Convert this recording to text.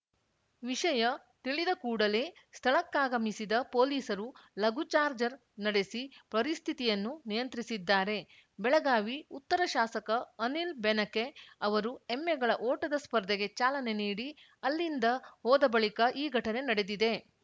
ವಿಷಯ ತಿಳಿದ ಕೂಡಲೇ ಸ್ಥಳಕ್ಕಾಗಮಿಸಿದ ಪೊಲೀಸರು ಲಘುಚಾರ್ಜರ್ ನಡೆಸಿ ಪರಿಸ್ಥಿತಿಯನ್ನು ನಿಯಂತ್ರಿಸಿದ್ದಾರೆ ಬೆಳಗಾವಿ ಉತ್ತರ ಶಾಸಕ ಅನಿಲ್ ಬೆನಕೆ ಅವರು ಎಮ್ಮೆಗಳ ಓಟದ ಸ್ಪರ್ಧೆಗೆ ಚಾಲನೆ ನೀಡಿ ಅಲ್ಲಿಂದ ಹೋದ ಬಳಿಕ ಈ ಘಟನೆ ನಡೆದಿದೆ